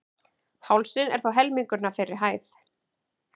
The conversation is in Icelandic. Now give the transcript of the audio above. Hálsinn er þó helmingurinn af þeirri hæð.